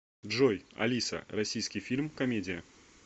джой алиса российский фильм комедия